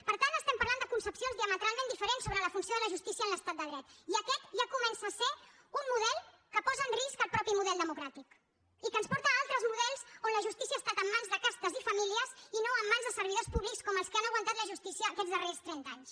per tant estem parlant de concepcions diametralment diferents sobre la funció de la justícia en l’estat de dret i aquest ja comença a ser un model que posa en risc el mateix model democràtic i que ens porta a altres mo·dels on la justícia ha estat en mans de castes i famílies i no en mans dels servidors públics com els que han aguantat la justícia aquests darrers trenta anys